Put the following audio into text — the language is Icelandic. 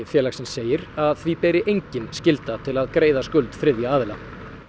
félagsins segir að því beri engin lagaskylda til að greiða skuldir þriðja aðila